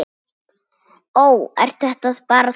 Ó, ert þetta bara þú?